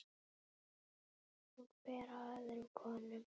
Hún ber af öðrum konum.